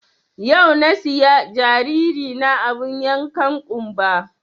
Yau na siya jariri na abun yankan ƙunba